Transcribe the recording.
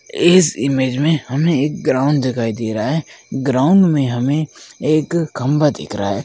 इस इमेज में हमें एक ग्राउंड दिखाई दे रहा है ग्राउंड में हमें एक खंभा दिख रहा है।